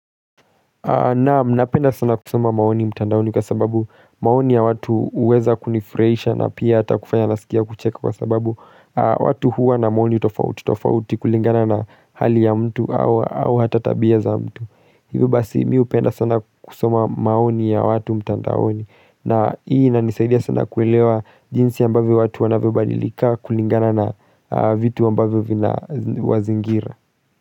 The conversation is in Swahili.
Naam, minapenda sana kusoma maoni mtandaoni kwa sababu maoni ya watu uweza kunifuraisha na pia hata kufanya nasikia kucheka kwa sababu watu huwa na maoni utofauti, utofauti kulingana na hali ya mtu au hata tabia za mtu Hivyo basi miupenda sana kusuma maoni ya watu mtandaoni na hii nanisaidia sana kuelewa jinsi ambavyo watu wanavyobadilika kulingana na vitu ambavyo vina wazingira.